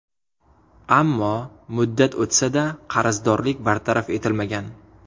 Ammo muddat o‘tsa-da, qarzdorlik bartaraf etilmagan.